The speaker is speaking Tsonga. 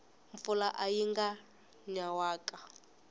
mpfula ayi nanga nyanwaka